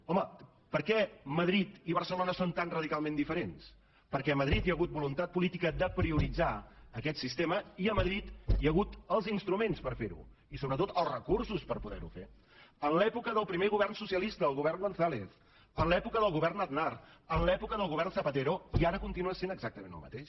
home per què madrid i barcelona són tan radicalment diferents perquè a madrid hi ha hagut voluntat política de prioritzar aquest sistema i a madrid hi ha hagut els instruments per ferho i sobretot els recursos per poder ho fer en l’època del primer govern socialista el govern gonzález en l’època del govern aznar en l’època del govern zapatero i ara continua sent exactament el mateix